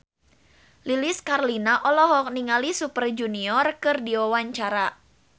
Lilis Karlina olohok ningali Super Junior keur diwawancara